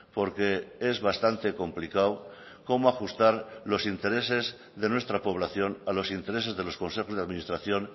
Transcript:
porque es bastante complicado cómo ajustar los intereses de nuestra población a los intereses de los consejos de administración